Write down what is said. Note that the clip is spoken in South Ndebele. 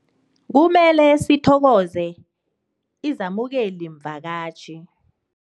Kumele sithokoze izamukelimvakatjhi.